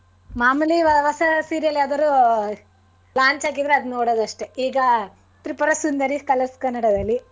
ಮಾಮೂಲಿ ಇವಾಗ ಹೊಸ serial ಯಾವದಾದ್ರು launch ಹಾಗಿದ್ರೆ ಅದನ್ನ ನೋಡೋದು ಅಷ್ಟೇ ಈಗ ತ್ರಿಪುರ ಸುಂದರಿ colors ಕನ್ನಡದಲ್ಲಿ.